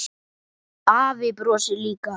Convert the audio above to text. Afi brosir líka.